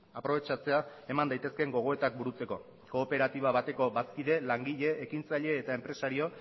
aprobetxatzea eman daitezkeen gogoetak burutzeko kooperatiba bateko bazkide langile ekintzaile eta enpresario